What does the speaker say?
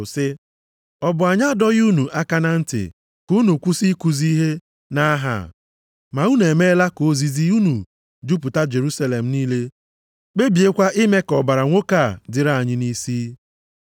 sị, “Ọ bụ anyị adọghị unu aka na ntị ka unu kwụsị ikuzi ihe nʼaha a; ma unu emeela ka ozizi unu jupụta Jerusalem niile kpebiekwa ime ka ọbara nwoke a dịrị anyị nʼisi.”